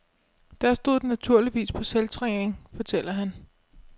Der stod den naturligvis på selvtræning, fortæller han.